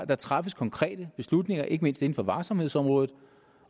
der træffes konkrete beslutninger ikke mindst inden for varsomhedsområdet